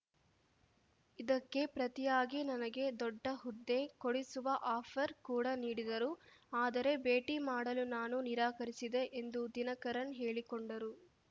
ಇದಕ್ಕೆ ಪ್ರತಿಯಾಗಿ ನನಗೆ ದೊಡ್ಡ ಹುದ್ದೆ ಕೊಡಿಸುವ ಆಫರ್‌ ಕೂಡ ನೀಡಿದರು ಆದರೆ ಭೇಟಿ ಮಾಡಲು ನಾನು ನಿರಾಕರಿಸಿದೆ ಎಂದು ದಿನಕರನ್‌ ಹೇಳಿಕೊಂಡರು